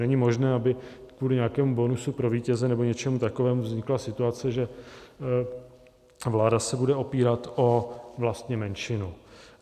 Není možné, aby kvůli nějakému bonusu pro vítěze nebo něčemu takovému vznikla situace, že vláda se budu opírat vlastně o menšinu.